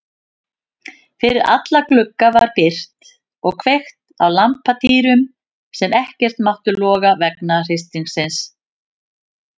Fyrir alla glugga var byrgt og kveikt á lampatýrum sem ekkert máttu loga vegna hristingsins.